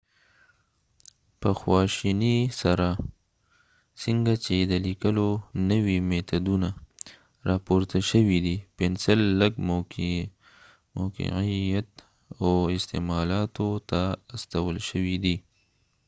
په خواشینۍ سره څنګه چې د لیکلو نوي میتودونه راپورته شوي پنسل لږ موقعیت او استعمالاتو ته استول شوی دی